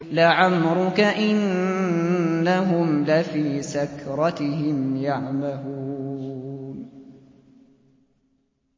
لَعَمْرُكَ إِنَّهُمْ لَفِي سَكْرَتِهِمْ يَعْمَهُونَ